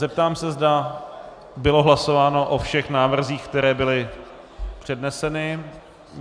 Zeptám se, zda bylo hlasováno o všech návrzích, které byly předneseny.